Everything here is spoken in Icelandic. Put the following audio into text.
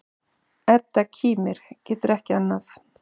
Edda kímir, getur ekki annað.